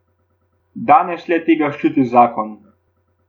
Danes le tega ščiti zakon .